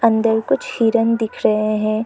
अंदर कुछ हिरण दिख रहे हैं।